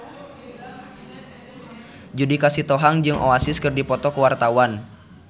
Judika Sitohang jeung Oasis keur dipoto ku wartawan